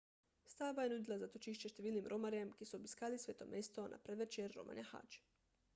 stavba je nudila zatočišče številnim romarjem ki so obiskali sveto mesto na predvečer romanja hadž